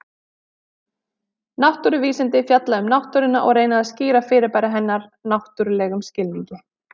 Náttúruvísindi fjalla um náttúruna og reyna að skýra fyrirbæri hennar náttúrlegum skilningi.